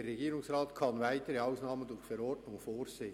Der Regierungsrat kann weitere Ausnahmen durch Verordnung vorsehen.